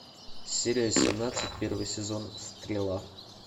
серия семнадцать первый сезон стрела